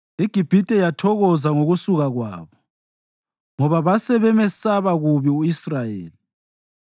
IGibhithe yathokoza ngokusuka kwabo, ngoba base bemesaba kubi u-Israyeli.